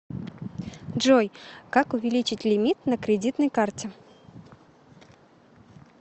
джой как увеличить лимит на кредитной карте